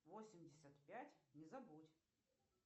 восемьдесят пять не забудь